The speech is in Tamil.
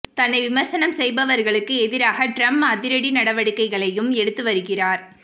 தன்னை விமர்சனம் செய்பவர்களுக்கு எதிராக டிரம்ப் அதிரடி நடவடிக்கைகளையும் எடுத்து வருகிறார்